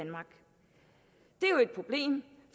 er jo et problem